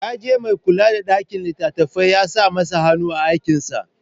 Ya je mai kula da ɗakin littattafai ya sa masa hanu a aikinsa.